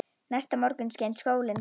Næsta morgun skein sólin glatt.